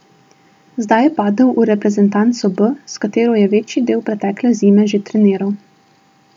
Zdaj je padel v reprezentanco B, s katero je večji del pretekle zime že treniral.